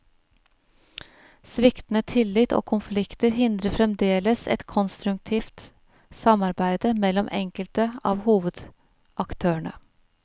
Sviktende tillit og konflikter hindrer fremdeles et konstruktivt samarbeide mellom enkelte av hovedaktørene.